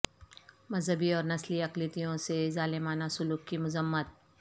مذہبی اور نسلی اقلیتوں سے ظالمانہ سلوک کی مذمت